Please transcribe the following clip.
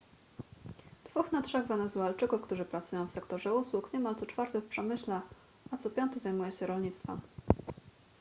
dwóch na trzech wenezuelczyków którzy pracują w sektorze usług niemal co czwarty w przemyśle a co piąty zajmuje się rolnictwem